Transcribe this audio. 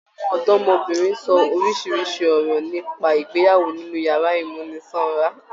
Àwọn ọdọmọbìnrin ṣọ orísirísi ọ̀rọ̀ nípa ìgbéyàwó nínú yàrá ìmúnisanra.